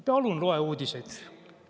Palun loe uudiseid.